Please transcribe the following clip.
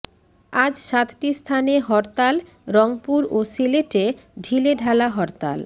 আজ সাতটি স্থানে হরতাল রংপুর ও সিলেটে ঢিলেঢালা হরতাল